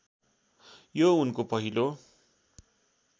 यो उनको पहिलो